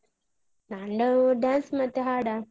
ನಂದು dance ಮತ್ತೆ ಹಾಡ.